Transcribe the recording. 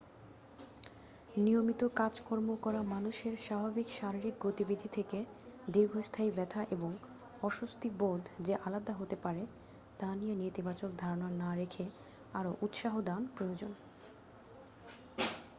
নিয়মিত কাজকর্ম করা মানুষের স্বাভাবিক শারীরিক গতিবিধি থেকে দীর্ঘস্থায়ী ব্যথা এবং অস্বস্তি বোধ যে আলাদা হতে পারে তা নিয়ে নেতিবাচক ধারণা না রেখে আরও উৎসাহ দান প্রয়োজন